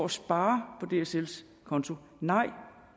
sparer på dsls konto nej